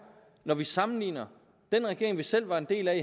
når vi sammenligner den regering vi selv var en del af i